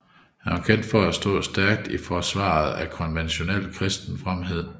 Han var kendt for at stå stærkt i forsvaret af konventionel kristen fromhed